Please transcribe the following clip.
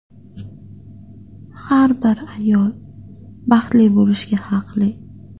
Har bir ayol baxtli bo‘lishga haqli.